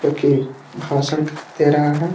जो की भासक दे रहे है।